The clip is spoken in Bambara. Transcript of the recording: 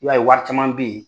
I b'a ye wari caman bɛ yen